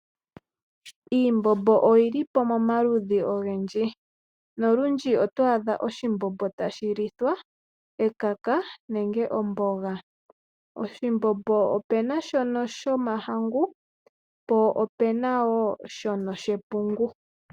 Iimbombo oyili pamaludhi ogendji nolundji otwaadha oshimbombo tashilithwa ekaka nenge omboga. Oshimbombo opena shomahangu po opena woo shepungu.